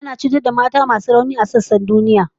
An dade ana cutar da mata masu rauni a sassan duniya